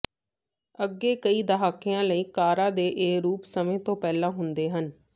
ਅੱਗੇ ਕਈ ਦਹਾਕਿਆਂ ਲਈ ਕਾਰਾਂ ਦੇ ਇਹ ਰੂਪ ਸਮੇਂ ਤੋਂ ਪਹਿਲਾਂ ਹੁੰਦੇ ਹਨ